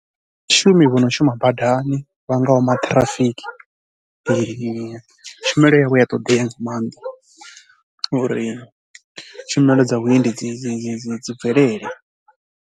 Ndi vhashumi vha no shuma badani vha ngaho maṱhirafiki tshumelo yavho i ya ṱoḓea nga maanḓa uri tshumelo dza vhuendi dzi dzi bvelele.